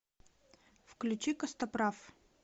включи костоправ